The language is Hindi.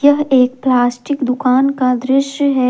यह एक प्लास्टिक दुकान का दृश्य है।